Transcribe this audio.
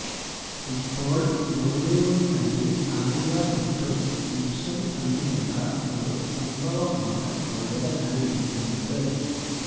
ഇപ്പോള് ബോളിവുഡ് നടി ആലിയ ഭട്ടും ഗിബ്സും തമ്മിലുള്ള ഒരു സംഭവമാണ് വൈറലായിരിക്കുന്നത്